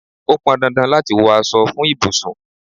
Ó pọn dandan láti wọ aṣọ fún ibùsùn.